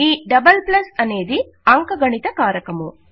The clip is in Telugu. ఈ అనేది అంకగణిత కారకము